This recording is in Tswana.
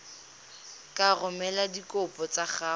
ka romela dikopo tsa gago